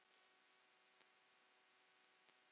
Mikil var ykkar gæfa.